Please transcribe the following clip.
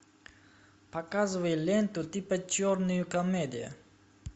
показывай ленту типа черная комедия